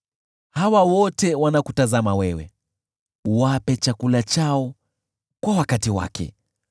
Hawa wote wanakutazamia wewe, uwape chakula chao kwa wakati wake.